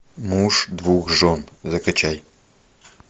муж двух жен закачай